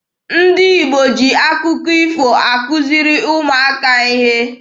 Ndị Igbo ji akụkọ ifo akuziri ụmụaka ihe.